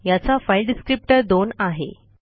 याचा file descriptor दोन आहे